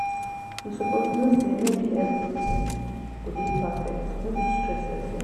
you suppose know sey no be everytin go dey perfect no too stress yoursef.